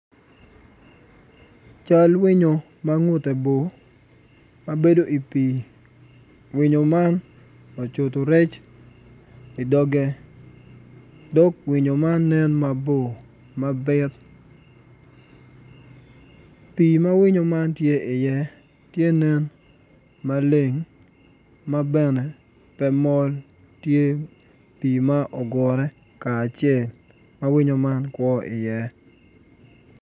Cal winyo ma ngute bor ma bedo i pii winyo man ocuto rec idoge dog winyo man nen mabor mabit pii ma winyo man tye iye tye nen maleng ma bene pe mol tye pii ma ogure kacel ma winyo man kwo iye.